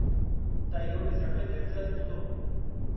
त इहो डि॒सणु में दिलिचस्प हूंदो।